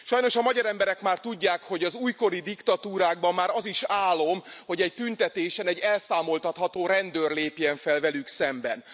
Sajnos a magyar emberek már tudják, hogy az újkori diktatúrákban már az is álom, hogy egy tüntetésen egy elszámoltatható rendőr lépjen fel velük szemben.